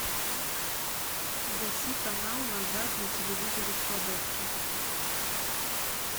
гаси канал назад на телевизоре в кладовке